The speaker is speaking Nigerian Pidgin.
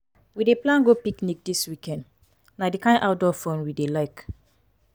we dey plan go picnic dis weekend na di kain outdoor fun we dey like.